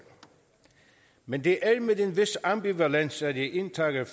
men det er med en vis ambivalens at jeg indtager